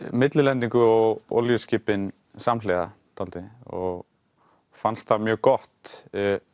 millilendingu og olíuskipin samhliða dálítið og fannst það mjög gott